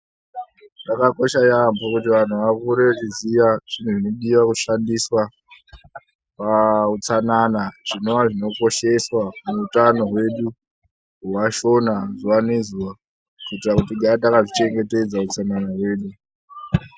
Zvakakosha yambo kuti vanhu vakure vechiziva zvinodiwa Kushandiswa pautsanana zvinova zvinokosheswa kuutano hwedu wevashona zuva nezuva kuitira kuti tigare takazvichengetedza hutsanana hwedu